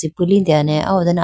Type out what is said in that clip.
tuli teya ne aw ho done .